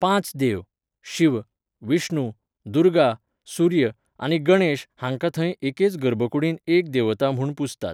पांच देव, शिव, विष्णू, दुर्गा, सूर्य आनी गणेश हांकां थंय एकेच गर्भकुडींत एक देवता म्हूण पुजतात.